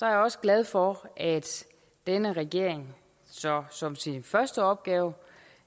jeg også glad for at denne regering så som sin første opgave